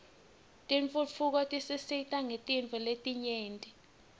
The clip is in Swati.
tentfutfuko tisisita ngetintfo letinyenti